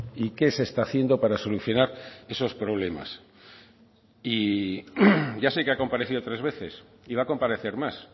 y que se está haciendo para solucionar esos problemas y ya sé que ha comparecido tres veces y va a comparecer más